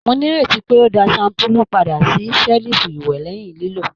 Mó n'ireti pé o dá shampulu pàdà sí selifu iwẹ lẹhin lilo?